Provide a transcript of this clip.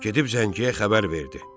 Gedib zəngiyə xəbər verdi.